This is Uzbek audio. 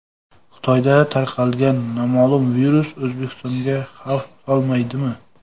Xitoyda tarqalgan noma’lum virus O‘zbekistonga xavf solmaydimi?.